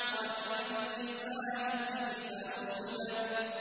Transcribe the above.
وَإِلَى الْجِبَالِ كَيْفَ نُصِبَتْ